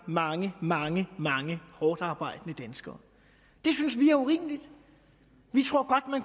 mange mange mange hårdtarbejdende danskere det synes vi er urimeligt vi tror